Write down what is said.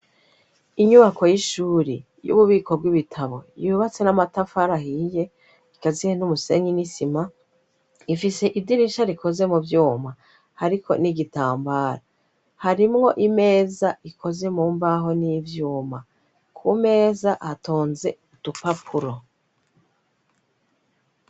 Inyubako y'ishuri y'ububiko bw'ibitabo yubatse n'amatafarahiye ikazihe n'umusenye n'isima ifise idirisha rikoze mu vyuma, ariko n'igitambara harimwo imeza ikoze mu mbaho n'ivyuma ku meza hatonze udupapuro i.